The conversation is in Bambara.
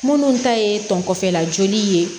Minnu ta ye tɔn kɔfɛla joli ye